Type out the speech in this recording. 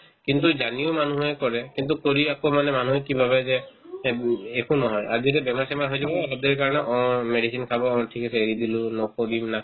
কিন্তু জানিও মানুহে কৰে কিন্তু কৰি আকৌ মানে মানুহে কি ভাবে যে একো নহয় আৰু যদি বেমাৰ-চেমাৰ হয় যদি অ সেইটোৰ কাৰণে অ medicine খাব অ ঠিক আছে এৰি দিলো নপকিল না